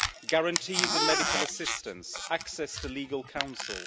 guarantees of medical assistance, access to legal counsel.